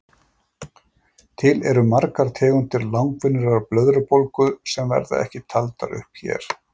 Til eru margar tegundir langvinnrar blöðrubólgu sem verða ekki taldar upp hér.